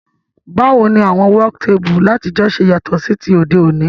Báwoni àwon work table látijọ́ se yàtò sí ti òdé òní?